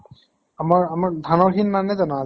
আমাৰ আমাৰ ধানৰ সি নানে জানো আজি?